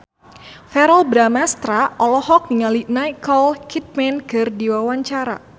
Verrell Bramastra olohok ningali Nicole Kidman keur diwawancara